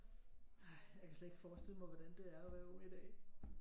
Ej jeg kan slet ikke forestille mig hvordan det er at være ung i dag